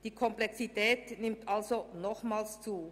Damit wird es noch einmal komplexer.